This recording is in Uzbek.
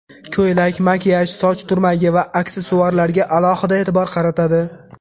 Ko‘ylak, makiyaj, soch turmagi va aksessuarlarga alohida e’tibor qaratadi.